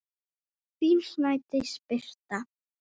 Þín Snædís Birta.